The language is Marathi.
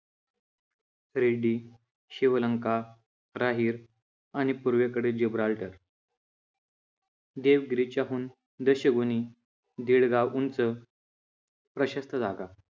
रेड्डी, शिवलंका, राहीर आणि पूर्वेकडील जिब्राल्टर देवगिरीच्या हून दशगुणी दीड गाव उंच, प्रशस्त जागा